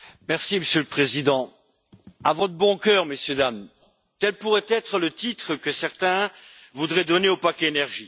Monsieur le Président, À vot' bon cœur, messieurs-dames, tel pourrait être le titre que certains voudraient donner au paquet énergie.